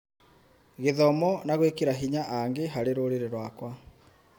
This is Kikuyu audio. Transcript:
gĩthomo na gwĩkĩra hinya angĩ harĩ rũrĩrĩ rwakwa